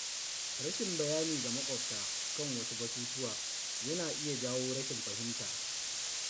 Rashin bayani ga maƙwabta kan wasu batutuwa yana iya jawo rashin fahimta.